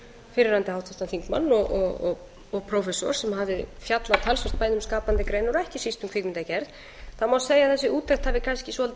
fyrrverandi háttvirtan þingmann og prófessor sem hafði fjallað talsvert bæði um skapandi greinar og ekki síst um kvikmyndagerð það má segja að þessi úttekt hafi kannski svolítið